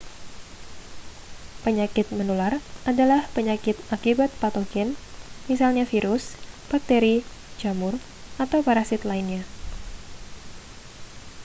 penyakit menular adalah penyakit akibat patogen misalnya virus bakteri jamur atau parasit lainnya